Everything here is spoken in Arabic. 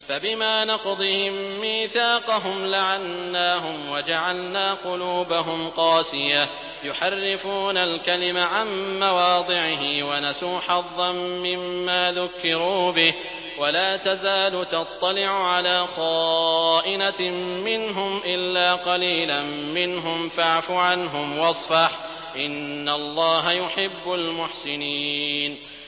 فَبِمَا نَقْضِهِم مِّيثَاقَهُمْ لَعَنَّاهُمْ وَجَعَلْنَا قُلُوبَهُمْ قَاسِيَةً ۖ يُحَرِّفُونَ الْكَلِمَ عَن مَّوَاضِعِهِ ۙ وَنَسُوا حَظًّا مِّمَّا ذُكِّرُوا بِهِ ۚ وَلَا تَزَالُ تَطَّلِعُ عَلَىٰ خَائِنَةٍ مِّنْهُمْ إِلَّا قَلِيلًا مِّنْهُمْ ۖ فَاعْفُ عَنْهُمْ وَاصْفَحْ ۚ إِنَّ اللَّهَ يُحِبُّ الْمُحْسِنِينَ